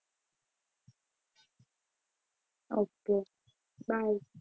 okay bye.